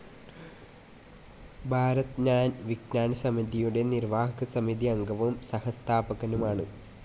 ഭാരത് ജ്ഞാൻ വിജ്ഞാൻ സമിതിയുടെ നിർവാഹകസമിതി അംഗവും സഹസ്ഥാപകനുമാണ്.